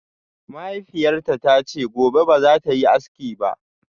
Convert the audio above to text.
Mahaifiyarta ta ce gobe ba za ta yi aski ba